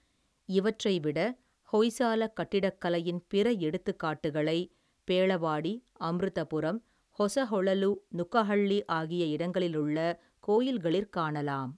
இவற்றைவிட ஹொய்சாலக் கட்டிடக்கலையின் பிற எடுத்துக்காட்டுகளை பேளவாடி அம்ருதபுரம் ஹொசஹொளலு நுக்கஹள்ளி ஆகிய இடங்களிலுள்ள கோயில்களிற் காணலாம்.